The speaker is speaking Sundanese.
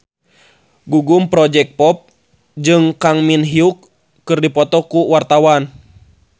Gugum Project Pop jeung Kang Min Hyuk keur dipoto ku wartawan